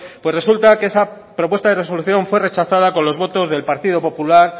pues resulta que esa propuesta de resolución fue rechazada con los votos del partido popular